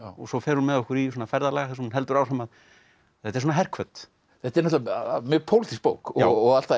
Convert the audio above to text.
svo fer hún með okkur í ferðalag þar sem hún heldur áfram þetta er svona herhvöt þetta er náttúrulega mjög bók og allt það